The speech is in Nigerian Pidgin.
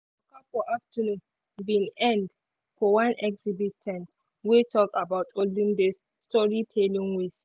their waka for afternoon bin end for one exhibit ten t wey talk about olden days storytelling ways.